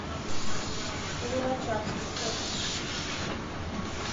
луначарский фото